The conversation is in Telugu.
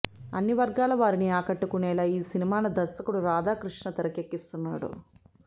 అన్ని వర్గాల వారిని ఆకట్టుకునేలా ఈ సినిమాను దర్శకుడు రాధాకృష్ణ తెరకెక్కిస్తున్నాడు